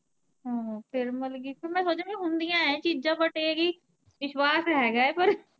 ਹਮ ਫਿਰ ਮਤਲਬ ਕੀ ਫਿਰ ਮੈਂ ਸੋਚਿਆ ਹੁੰਦੀਆ ਆ ਇਹ ਚੀਜਾਂ ਬਟ ਇਹ ਕਿ ਵਿਸਵਾਸ ਹੈਗਾ ਆ ਪਰ।